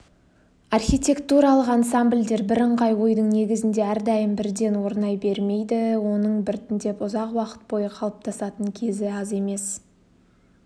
архитертуралық ансамбльдер бірыңғай ойдың негізінде әрдайым бірден орнай бермейді оның біртіндеп ұзақ уақыт бойы қалыптасатын кезі аз емес